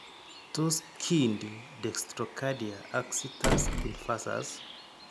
Tos kiinti dextroxcardia ak situs inversus?